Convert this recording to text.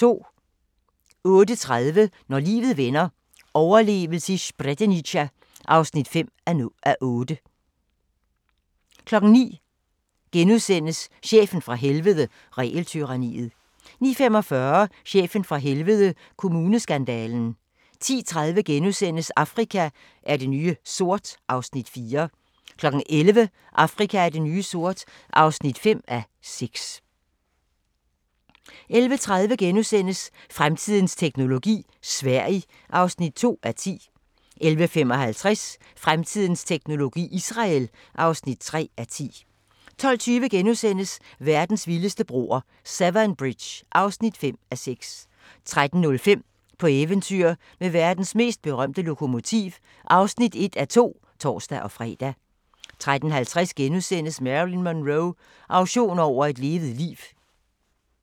08:30: Når livet vender – overlevede Srebrenica (5:8) 09:00: Chefen fra helvede – Regeltyranniet * 09:45: Chefen fra Helvede – Kommuneskandalen 10:30: Afrika er det nye sort (4:6)* 11:00: Afrika er det nye sort (5:6) 11:30: Fremtidens teknologi: Sverige (2:10)* 11:55: Fremtidens teknologi: Israel (3:10) 12:20: Verdens vildeste broer – Severn Bridge (5:6)* 13:05: På eventyr med verdens mest berømte lokomotiv (1:2)(tor-fre) 13:50: Marilyn Monroe – auktion over et levet liv *